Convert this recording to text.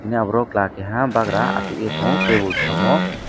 bini aborok khela keha bagra ashogei tango tebol samo.